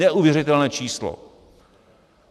Neuvěřitelné číslo.